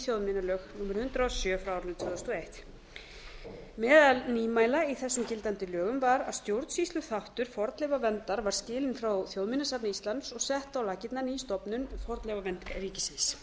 þjóðminjalög númer hundrað og sjö tvö þúsund og eitt meðal nýmæla í þessum gildandi lögum var að stjórnsýsluþáttur fornleifaverndar var skilinn frá þjóðminjasafni íslands og sett á laggirnar ný stofnun fornleifavernd ríkisins